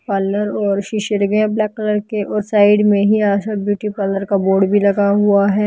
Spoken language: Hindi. पार्लर और शीशे लगे हैं ब्लैक कलर के और साइड में ही आशा ब्यूटी पार्लर का बोर्ड भी लगा हुआ है।